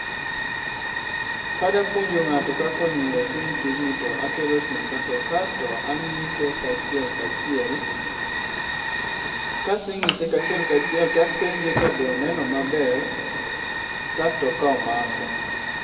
Kadapuonjo ng'ato kaka onyingo otim tijni to akelo simba to kasto ang'ise kachiel kachiel. Kaseng'ise kachiel kachiel tapenje ka be oneno maber. kasto ka omako.